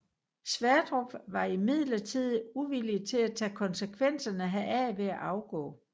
Sverdrup var imidlertid uvillig til at tage konsekvenserne heraf ved at afgå